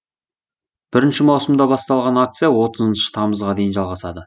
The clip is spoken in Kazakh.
бірінші маусымда басталған акция отызыншы тамызға дейін жалғасады